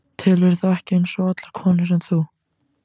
Telurðu þá ekki eins og allar konurnar sem þú?